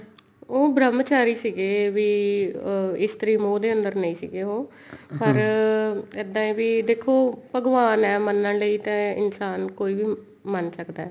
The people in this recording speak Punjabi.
ਉਹ ਬ੍ਰਹਮਚਾਰੀ ਵੀ ਅਹ ਇਸਤਰੀ ਮੋਹ ਦੇ ਅੰਦਰ ਨਹੀਂ ਸੀ ਉਹ ਅਮ ਇੱਦਾਂ ਹੈ ਵੀ ਦੇਖੋ ਭਗਵਾਨ ਹੈ ਮੰਨਣ ਲਈ ਤਾਂ ਇਨਸਾਨ ਕੋਈ ਵੀ ਮੰਨ ਸਕਦਾ